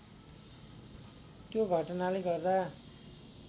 त्यो घटनाले गर्दा